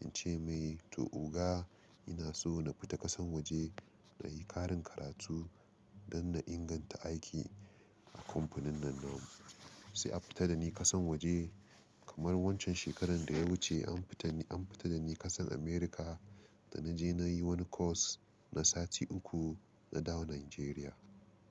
in ce mai to oga ina so na fita ƙasan waje na yi ƙarin karatu don na inganta aiki a kamfanin nan namu. Sai a fita da ni ƙasan waje kamar wancan shekarar da ya wuce an fita, an fita da ni ƙasan America da na je na yi wani course na sati uku na dawo Nigeria.